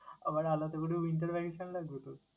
আবার আলাদা করেও winter vacation লাগবে তোর?